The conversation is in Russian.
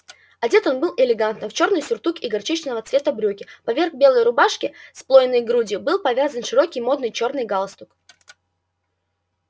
одет он был элегантно в чёрный сюртук и горчичного цвета брюки поверх белой рубашки с плоёной грудью был повязан широкий модный чёрный галстук